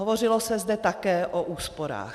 Hovořilo se zde také o úsporách.